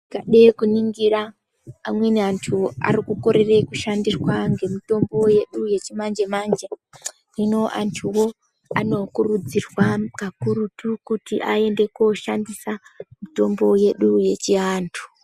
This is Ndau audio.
Tikade kuningira amweni anthu arikukorera kushandirwa ngemitombo yedu yechimanje manje hino antuwo anokurudzirwa kakurutu koshandisa mitombo yedu yechi antu.